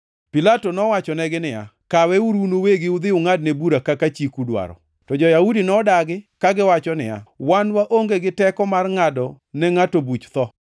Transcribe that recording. Pilato nowachonegi niya, “Kaweuru un uwegi udhi ungʼadne bura kaka chiku dwaro.” To jo-Yahudi nodagi, kagiwacho niya, “Wan waonge gi teko mar ngʼado ne ngʼato buch tho.”